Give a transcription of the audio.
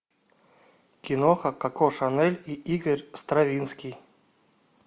киноха коко шанель и игорь стравинский